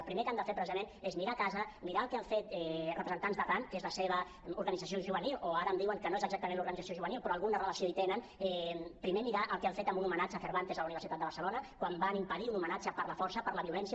el primer que han de fer precisament és mirar a casa mirar el que han fet representants d’arran que és la seva organització juvenil o ara em diuen que no és exactament l’organització juvenil però alguna relació hi tenen primer mirar el que han fet en un homenatge a cervantes a la universitat de barcelona quan van impedir un homenatge per la força per la violència